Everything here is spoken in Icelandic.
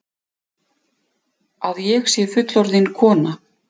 Að ég sé fullorðin kona.